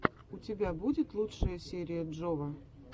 у тебя будет лучшая серия джова